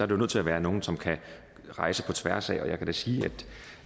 det nødt til at være nogle som kan rejse på tværs altså jeg kan da sige